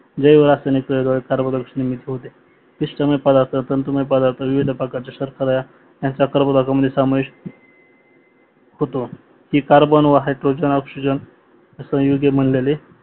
जैवरासायनिक कार्बोदर्शनिक होते पिस्टमय प्रदार्थ तंतुमय प्रदार्थ विविधप्रकारच्या क्षस्त्रक्रिया आणि संपर्क भागामध्ये समाविष्ट होतो हे कार्बन व हायड्रोजन ऑक्सिजन संयुगी बनलेले